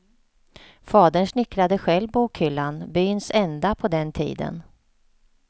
Fadern snickrade själv bokhyllan, byns enda på den tiden.